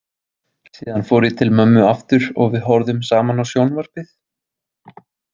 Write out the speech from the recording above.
Síðan fór ég til mömmu aftur og við horfðum saman á sjónvarpið.